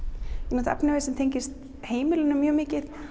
ég nota efnivið sem tengist heimilinu mjög mikið